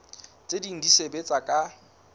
tse ding di sebetsa ka